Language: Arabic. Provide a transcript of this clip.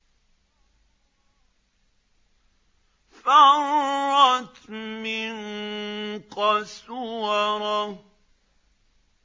فَرَّتْ مِن قَسْوَرَةٍ